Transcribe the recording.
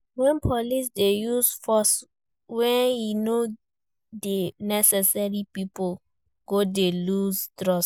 When police de use force when e no de necessary pipo go de loose trust